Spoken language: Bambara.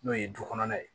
N'o ye du kɔnɔna ye